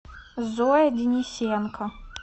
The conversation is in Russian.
зоя денисенко